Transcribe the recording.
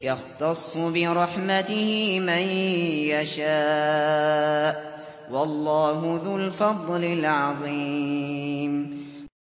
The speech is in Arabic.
يَخْتَصُّ بِرَحْمَتِهِ مَن يَشَاءُ ۗ وَاللَّهُ ذُو الْفَضْلِ الْعَظِيمِ